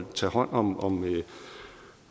tage hånd om